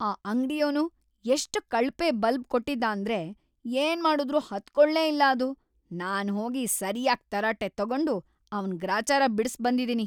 ಆ ಅಂಗ್ಡಿಯೋನು ಎಷ್ಟ್ ಕಳಪೆ ಬಲ್ಬ್ ಕೊಟ್ಟಿದ್ದಾಂದ್ರೆ ಏನ್ಮಾಡುದ್ರೂ ಹತ್ಕೊಳ್ಲೇ ಇಲ್ಲ ಅದು, ನಾನ್ಹೋಗಿ ಸರ್ಯಾಗ್‌ ತರಾಟೆ ತಗೊಂಡು ಅವ್ನ್‌ ಗ್ರಾಚಾರ ಬಿಡ್ಸ್‌ಬಂದಿದೀನಿ.